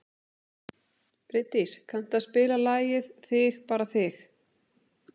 Bjarndís, kanntu að spila lagið „Þig bara þig“?